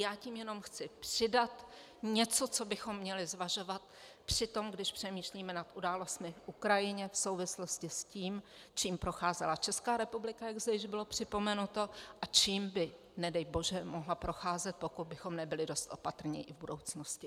Já tím jenom chci přidat něco, co bychom měli zvažovat při tom, když přemýšlíme nad událostmi v Ukrajině v souvislosti s tím, čím procházela Česká republika, jak zde již bylo připomenuto, a čím by, nedej bože, mohla procházet, pokud bychom nebyli dost opatrní i v budoucnosti.